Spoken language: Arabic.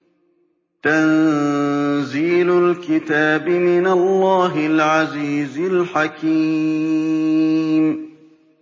تَنزِيلُ الْكِتَابِ مِنَ اللَّهِ الْعَزِيزِ الْحَكِيمِ